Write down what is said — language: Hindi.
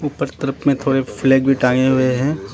ऊपर तरफ में थोड़े फ्लैग भी टांगें हुए हैं।